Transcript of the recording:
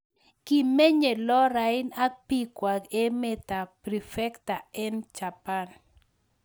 Kimenyee Lorraine ak piik kwaak emeet ap prefecture eng japan